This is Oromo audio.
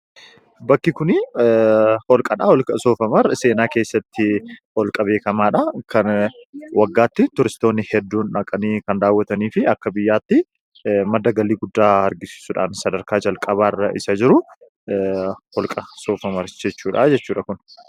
Bakki kunii, hoolqadha. Hoolqa soof-umar seenaa keessatti, hoolqa beekkamaadha. Kan Waggaatti turistoonni hedduun dhaqanii kan daawwataniifi akka biyyaatti madda galii guddaa argamsiisuudhasn sadarkaa jalqabaarra isa jiru, hoolqa soof-umar jechuudha jechuudha kun.